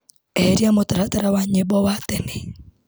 Eheria mutaratara wa nyimbo wa tene.